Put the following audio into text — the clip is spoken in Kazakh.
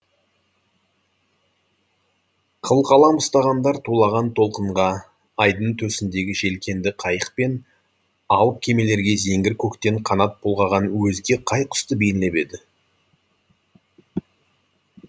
қылқалам ұстағандар тулаған толқынға айдын төсіндегі желкенді қайық пен алып кемелерге зеңгір көктен қанат бұлғаған өзге қай құсты бейнелеп еді